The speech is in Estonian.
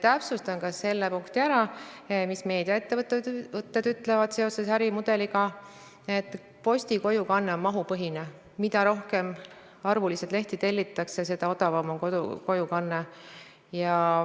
Täpsustan üle ka selle punkti, mida meediaettevõtted seoses ärimudeliga ütlevad, et posti kojukanne on mahupõhine: mida rohkem lehti tellitakse, seda odavam on kojukanne.